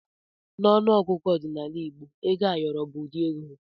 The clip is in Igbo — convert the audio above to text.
N'ọnụ ọgụgụ ọdịnala igbo ego ayọrọ bụ ụdị ego.